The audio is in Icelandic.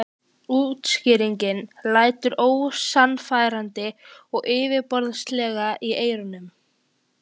Útskýringin lætur ósannfærandi og yfirborðslega í eyrum.